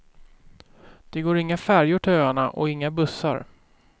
Det går inga färjor till öarna och inga bussar.